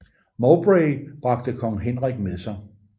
Mowbray bragte kong Henrik med sig